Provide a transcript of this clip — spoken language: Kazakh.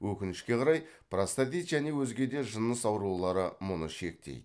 өкінішке қарай простатит және өзге де жыныс аурулары мұны шектейді